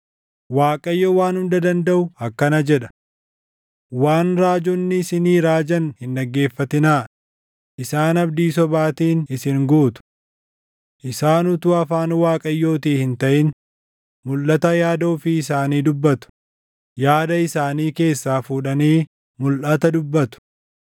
Waaqayyo Waan Hunda Dandaʼu akkana jedha: “Waan raajonni isinii raajan hin dhaggeeffatinaa; isaan abdii sobaatiin isin guutu. Isaan utuu afaan Waaqayyootii hin taʼin mulʼata yaada ofii isaanii dubbatu; yaada isaanii keessaa fuudhanii mulʼata dubbatu.